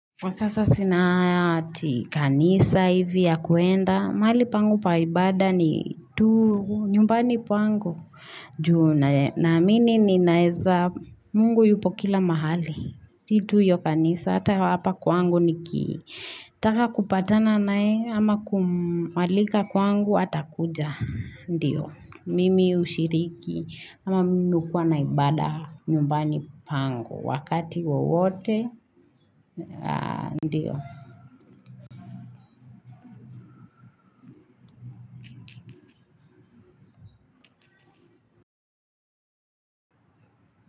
Kwa sasa sina haya ati kanisa hivi ya kuenda, mali pangu paibada ni tu, nyumbani pangu, naamini ni naeza, mungu yupo kila mahali, situ iyo kanisa, ata hapa kwangu niki, taka kupatana nae, ama kumwalika kwangu, atakuja, ndio, mimi ushiriki, ama minu kuwa na ibada nyumbani pangu, Wakati wawote Ndiyo.